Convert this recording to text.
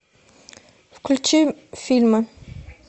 включи фильмы